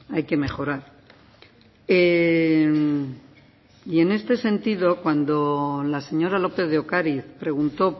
hay que mejorar y en este sentido cuando la señora lópez de ocariz preguntó